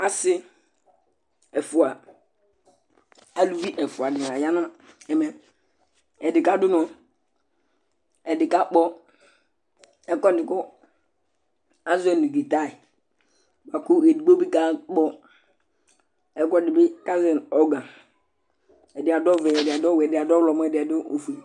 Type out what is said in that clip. Asi ɛfʋa, alu ɛfʋa dìní la dìní la ya nu ɛmɛ Ɛdí kadu ʋnɔ kʋ ɛdí kakpɔ ɛkʋɛdi kʋ azɔɛ nu guitare Ɛdigbo bi kakpɔ ɛkʋɛdi kʋ azɔɛ nu ɔrgan Ɛdí du adu ɔvɛ, ɛdí adu ɔwɛ, ɛdí adu ɔwlɔmɔ, ɛdí adu ɔfʋe